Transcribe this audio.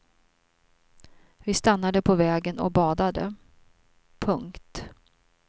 Vi stannade på vägen och badade. punkt